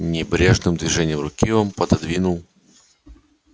небрежным движением руки он пододвинул